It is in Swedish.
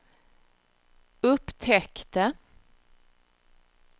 upptäckte